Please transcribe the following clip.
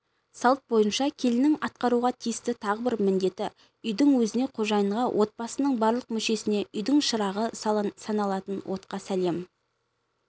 салт бойынша келіннің атқаруға тиісті тағы бір міндеті үйдің өзіне қожайынға отбасының барлық мүшесіне үйдің шырағы саналатын отқа сәлем